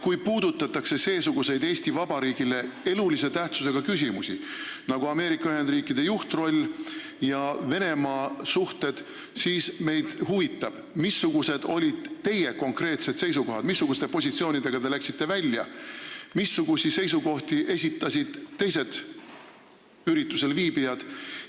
Kui puudutatakse seesuguseid Eesti Vabariigile elulise tähtsusega küsimusi nagu Ameerika Ühendriikide juhtroll ja Venemaa suhted, siis meid huvitab, missugused olid teie konkreetsed seisukohad, missuguste positsioonidega te sinna läksite ja missuguseid seisukohti esitasid teised üritusel viibijad.